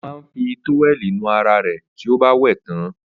Ó máa ń fi tówẹ́lì nu ara rẹ̀ tí ó bá wẹ̀ tán.